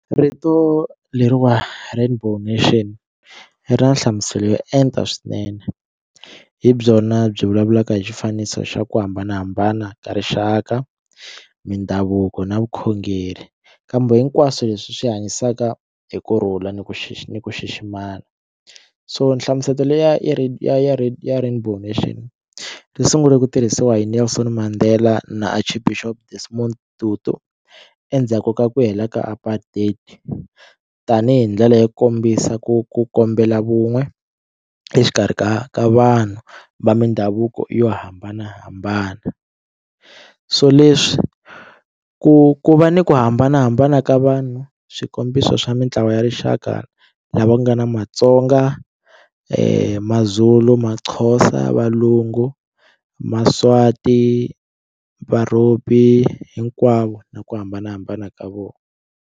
Rito leriwa rainbow nation ri na nhlamuselo yo enta swinene hi byona byi vulavulaka hi xifaniso xa ku hambanahambana ka rixaka, mindhavuko na vukhongeri kambe hinkwaswo leswi swi hanyisaka hi ku rhula ni ku ni ku xiximana so nhlamuselo leyi ya ya ya rainbow nation yi sungule ku tirhisiwa yini Nelson Mandela na Archbishop Desmond Tutu endzhaku ka ku hela ka apartheid tanihi ndlela yo kombisa ku ku kombela vun'we exikarhi ka ka vanhu va mindhavuko yo hambanahambana so leswi ku ku va ni ku hambanahambana ka vanhu swikombiso swa mitlawa ya rixaka lava nga na matsonga, mazulu, maxhosa valungu, maswati hinkwavo hi ku hambanahambana ka vona.